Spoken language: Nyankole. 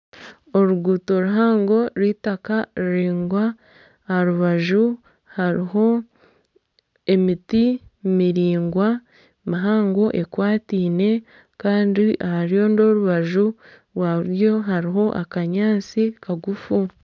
Oruguuto ruhango rw'eitaaka ruraingwa aha rubaju hariho emiti miraingwa mihango ekwataine kandi aha rundi orubaju rwa buryo hariho akanyaatsi kagufu.